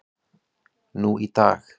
nú í dag.